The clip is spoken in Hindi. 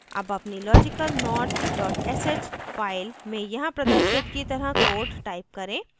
अब अपनी logicalnot dot sh file में यहाँ प्रदर्शित की तरह code type करें